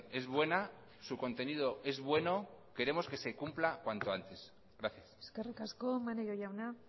es buena su contenido es bueno queremos que se cumpla cuanto antes gracias eskerrik asko maneiro jauna